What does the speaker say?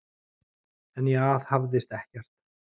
En ég aðhafðist ekkert.